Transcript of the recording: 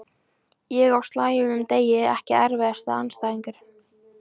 Ég á slæmum degi Ekki erfiðasti andstæðingur?